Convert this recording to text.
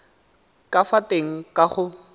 ka fa teng ka go